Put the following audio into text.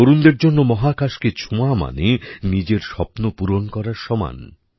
তরুণদের জন্য মহাকাশকে ছোঁয়া মানে নিজের স্বপ্নপূরণ করার সমান